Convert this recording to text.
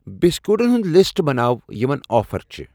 بِسکوٗٹن ہُنٛد لسٹ بناو یِمَن آفر چھِ۔